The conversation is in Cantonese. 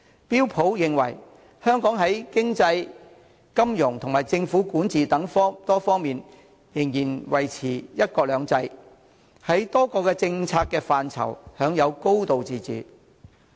標準普爾認為，香港在經濟、金融及政府管治等多方面仍然維持"一國兩制"，在多個政策範疇享有"高度自治"。